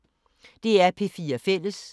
DR P4 Fælles